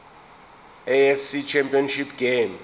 afc championship game